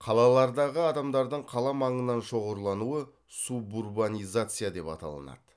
қалалардағы адамдардың қала маңынан шоғырлануы субурбанизация деп аталынады